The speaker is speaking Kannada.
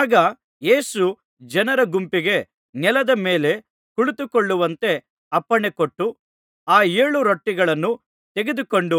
ಆಗ ಯೇಸು ಜನರ ಗುಂಪಿಗೆ ನೆಲದ ಮೇಲೆ ಕುಳಿತುಕೊಳ್ಳುವಂತೆ ಅಪ್ಪಣೆಕೊಟ್ಟು ಆ ಏಳು ರೊಟ್ಟಿಗಳನ್ನು ತೆಗೆದುಕೊಂಡು